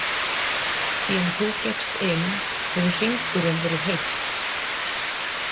Síðan þú gekkst inn, hefur hringurinn verið heill.